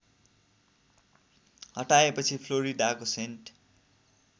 हटाएपछि फ्लोरिडाको सेन्ट